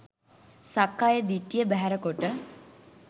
සක්කාය දිට්ඨිය බැහැර කොට